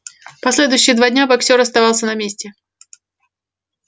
последующие два дня боксёр оставался на месте